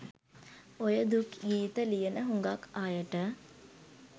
ඔය දුක් ගීත ලියන හුඟක් අයට